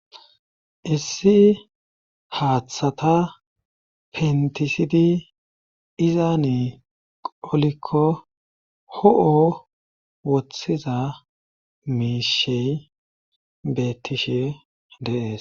issi haaththata pentisidi izaani olikko ho7o wothiza miishey bettishe deees